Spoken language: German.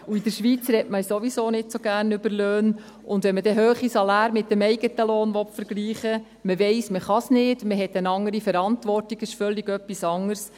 In der Schweiz spricht man sowieso nicht so gerne über Löhne, und wenn man dann hohe Saläre mit dem eigenen Lohn vergleichen will, weiss man zwar: Man hat eine andere Verantwortung, es ist etwas völlig anderes.